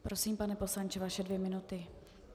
Prosím, pane poslanče, vaše dvě minuty.